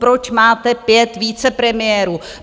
Proč máte 5 vicepremiérů!